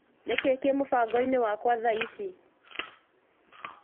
Nĩkĩĩ kĩ mũbango-inĩ wakwa thaa ici?